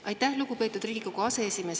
Aitäh, lugupeetud Riigikogu aseesimees!